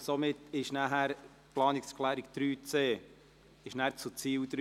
Die Planungserklärung 3c gehört nun zu Ziel 3.